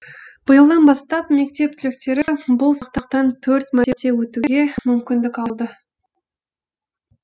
биылдан бастап мектеп түлектері бұл сынақтан төрт мәрте өтуге мүмкіндік алды